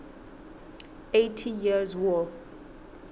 eighty years war